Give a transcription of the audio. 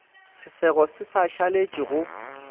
sesego se sa šaletše go